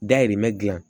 Dayirimɛ dilan